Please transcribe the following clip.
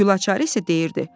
Gülaçar isə deyirdi: